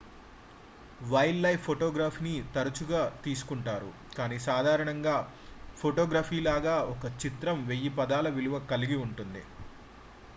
wild life photography ని తరచుగా తీసుకుంటారు కానీ సాధారణంగా ఫోటోగ్రఫీ లాగా ఒక చిత్రం వెయ్యి పదాల విలువ కలిగి ఉంటుంది